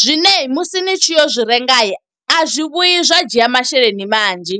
zwine musi ni tshi yo zwi renga. A zwi vhuyi zwa dzhia masheleni manzhi.